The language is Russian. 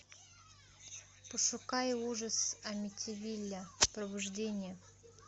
пошукай ужас амитивилля пробуждение